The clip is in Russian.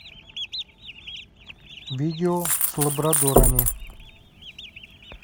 видео с лабрадорами